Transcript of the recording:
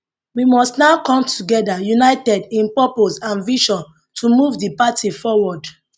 we must now come together united in purpose and vision to move di party forward